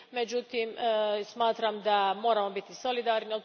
Međutim, smatram da moramo biti solidarni.